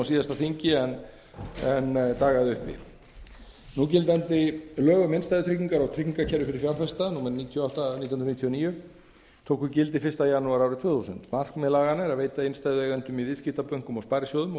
síðasta þingi en dagaði uppi núgildandi lög um innstæðutryggingar og tryggingakerfi fyrir fjárfesta númer níutíu og átta nítján hundruð níutíu og níu tóku gildi fyrsta janúar tvö þúsund markmið laganna er að veita innstæðueigendum í viðskiptabönkum og sparisjóðum og